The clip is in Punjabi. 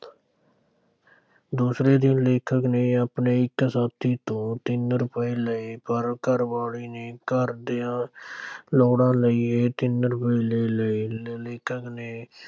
ਦੂਸਰੇ ਦਿਨ ਲੇਖਕ ਨੇ ਆਪਣੇ ਇੱਕ ਸਾਥੀ ਤੋਂ ਤਿੰਨ ਰੁਪਏ ਲਏ ਪਰ ਘਰਵਾਲੀ ਨੇ ਘਰ ਦੀਆਂ ਲੋੜਾਂ ਲਈ ਇਹ ਤਿੰਨ ਰੁਪਏ ਲੈ ਲਏ, ਲੇਖਕ ਨੇ